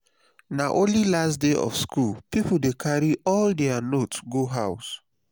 na only last day of school people dey carry all their notes go house.